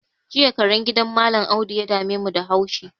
Jiya karen gidan mallam audu ya damemu da haushi